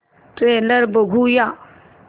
trailer बघूया